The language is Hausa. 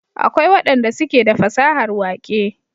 akwai wadan da suke da fasahar waƙe